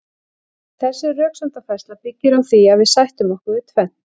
en þessi röksemdafærsla byggir á því að við sættum okkur við tvennt